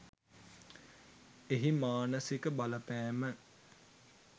එහි මානසික බලපෑම